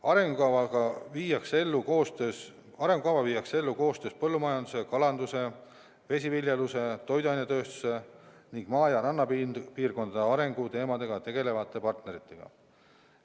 Arengukava viiakse ellu koostöös põllumajanduse, kalanduse, vesiviljeluse, toiduainetööstuse ning maa- ja rannapiirkondade arenguteemadega tegelevate partneritega.